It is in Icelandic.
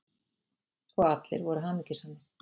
Og allir voru hamingjusamir.